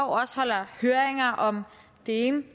også holder høringer om det ene